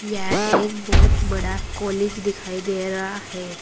यह एक बहोत बड़ा कॉलेज दिखाई दे रहा है।